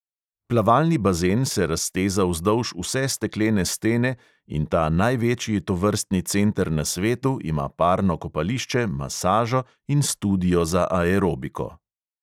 Plavalni bazen se razteza vzdolž vse steklene stene in ta največji tovrstni center na svetu ima parno kopališče, masažo in studio za aerobiko.